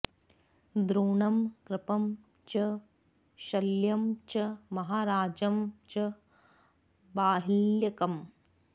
द्रोणं कृपं च शल्यं च महाराजं च बाह्लिकम्